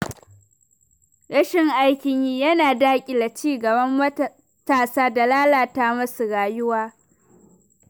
Rashin aikin yi yana daƙile ci gaban matasa da lalata musu rayuwa.